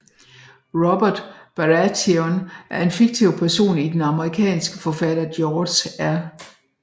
Robert Baratheon er en fiktiv person i den amerikanske forfatter George R